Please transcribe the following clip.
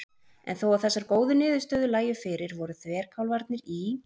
En þó að þessar góðu niðurstöður lægju fyrir voru þverkálfarnir í